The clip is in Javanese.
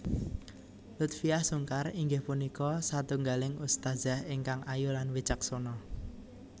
Lutfiah Sungkar inggih punika satunggaling ustadzah ingkang ayu lan wicaksana